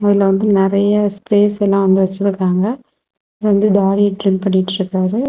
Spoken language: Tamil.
அதுல நறைய ஸ்பெஸ்ஸல்லாம் வந்து வெச்சுருக்காங்க வந்து தாடிய ட்ரிம் பண்ணிட்ருக்காரு.